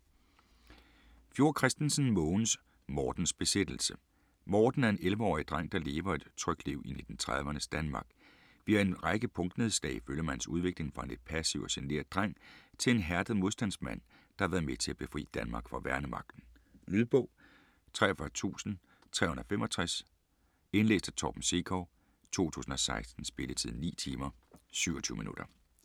Fjord Christensen, Mogens: Mortens besættelse Morten er en 11-årig dreng der levet et trygt liv i 1930'ernes Danmark. Via en række punktnedslag følger man hans udvikling fra en lidt passiv og genert dreng til en hærdet modstandsmand der har været med til at befri Danmark fra værnemagten. Lydbog 43365 Indlæst af Torben Sekov, 2016. Spilletid: 9 timer, 27 minutter.